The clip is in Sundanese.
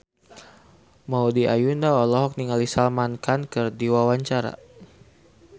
Maudy Ayunda olohok ningali Salman Khan keur diwawancara